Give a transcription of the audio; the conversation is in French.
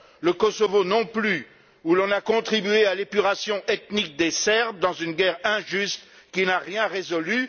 Le Kosovo non plus, où l'on a contribué à l'épuration ethnique des Serbes dans une guerre injuste qui n'a rien résolu.